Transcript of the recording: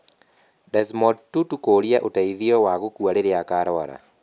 Desmond Tutu kũũria ũteithio wa gũkua riria akarũara.